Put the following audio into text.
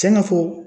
Tiɲɛna fo